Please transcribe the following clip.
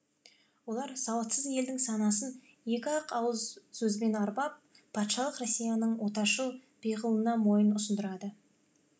олар сауатсыз елдің санасын екі ақ ауыз сөзбен арбап патшалық россияның отаршыл пиғылына мойын ұсындырды